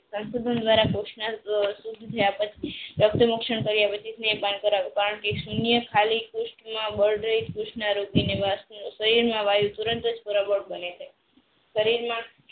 સૂન્ય વાયુ તુરંત જ બને છે સરીર માં